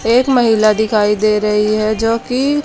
एक महिला दिखाई दे रही है जोकि--